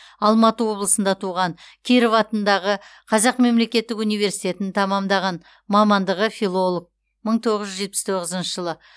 алматы облысында туған киров атындағы қазақ мемлекеттік университетін тәмамдаған мамандығы филолог мың тоғыз жүз жетпіс тоғызыншы жылы